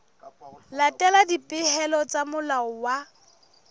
latela dipehelo tsa molao wa